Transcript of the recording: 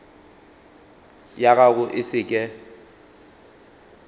ya gago e se ke